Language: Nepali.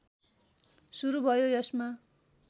सुरु भयो यसमा